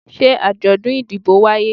se ajodun idibo waye?